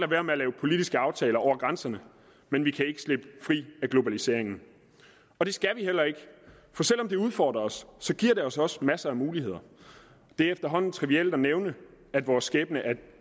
være med at lave politiske aftaler over grænserne men vi kan ikke slippe fri af globaliseringen det skal vi heller ikke for selv om det udfordrer os giver det os også masser af muligheder det er efterhånden trivielt at nævne at vores skæbne er